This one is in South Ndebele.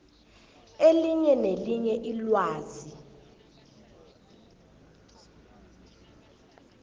elinye nelinye ilwazi